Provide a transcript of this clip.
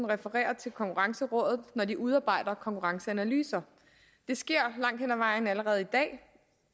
referere til konkurrencerådet når de udarbejder konkurrenceanalyser det sker langt vejen allerede i dag